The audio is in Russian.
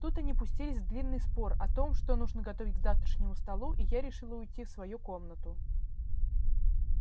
тут они пустились в длинный спор о том что нужно готовить к завтрашнему столу и я решила уйти в свою комнату